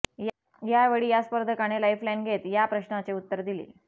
यावेळी या स्पर्धकाने लाईफलाईन घेत या प्रश्नाचे उत्तर दिले